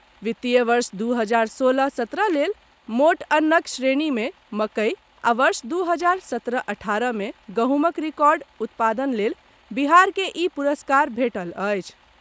वित्तीय वर्ष दू हजार सोलह सत्रह लेल मोट अन्नक श्रेणी मे मकई आ वर्ष दू हजार सत्रह अठारह मे गहूँमक रिकॉर्ड उत्पादन लेल बिहारकेँ ई पुरस्कार भेटल अछि।